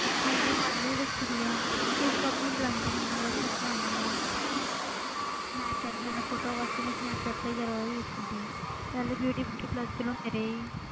ਮੈਂ ਵੀ ਬਾਈਬਲ ਰੱਖੀ ਦੀ ਆ ਇੰਸਟਾ ਤੇ ਮੈਂ ਚਲਾਉਂਦੀ ਚਲਾਉਂਦੀ ਹਾਂ ਵਾਟਸੈਪ ਚਲਾਉਂਦੀ ਹਾਂ ਸਨੈਪਚੈਟ ਫਿਰ photo ਵਾਸਤੇ ਮੈਂ ਸਨੈਪਚੈਟ ਤੇ ਪਹਿਲੇ ਯੂ ਟਿਊਬ ਪਲੱਸ ਚਲਾਉਂਦੇ ਰਹੇ ਸੀ